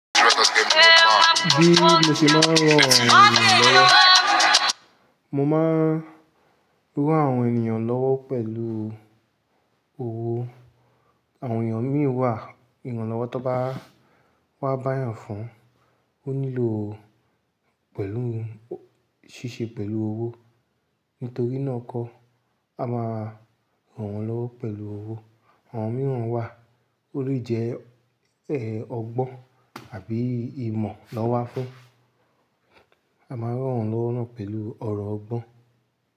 Bí mo ṣe máa rán àwọn ènìyàn lọ́wọ́. Mo máa rán àwọn ènìyàn lọ́wọ́ pẹ̀lú owó. Àwọn ènìyàn mìíràn wà, ìran lọ́wọ́ tó bá wá bá èèyàn fún, ó nílò ṣíṣe pẹ̀lú owó. Nítorí náà kọ́, a máa rán wọn lọ́wọ́ pẹ̀lú owó. Àwọn mìíràn wà, ó lè jẹ́ ẹ̀ ọgbọ́n àbí ìmọ̀ lọ́wọ́ fún. A máa rán wọn lọ́wọ́ náà pẹ̀lú ọ̀rọ̀ ọgbọ́n.